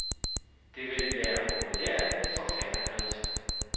Det ville være populært i forfatterkredse.